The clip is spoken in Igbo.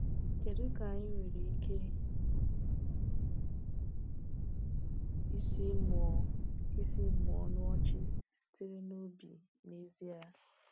Kedu ka anyị nwere ike isi mụọ isi mụọ ọnụ ọchị sitere n’obi n’ezie?